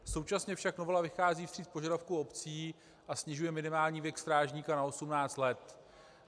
Současně však novela vychází vstříc požadavkům obcí a snižuje minimální věk strážníka na 18 let.